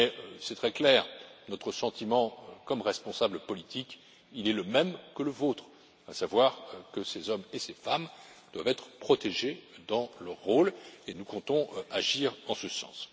Il est très clair que notre sentiment, en tant que responsables politiques, est le même que le vôtre, à savoir que ces hommes et ces femmes doivent être protégés dans leur rôle et nous comptons agir en ce sens.